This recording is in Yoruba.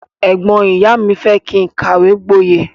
Ẹgbọn ìyá mi fẹ kí n kàwé gbọye.